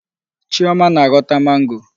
Chioma na-aghọta mango.